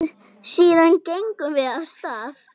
Síðan gengum við af stað.